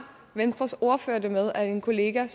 venstres ordfører det så med at en kollega